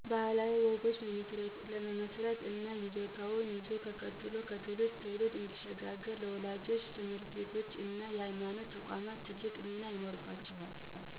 ባህላዊ ወግን ለመመስረት እና ይዞታው ይዞ ከትውልድ ትውልድ እንዲሽጋገር ወላጆች፣ ትምህርት ቤቶች እና የሀይማኖት ተቋማት ትልቅ ሚና ይኖራቸዋል።